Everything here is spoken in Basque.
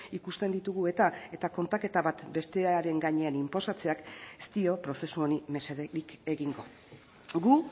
ikusten ditugu eta eta kontaketa bat bestearen gainean inposatzeak ez dio prozesu honi mesederik egingo gu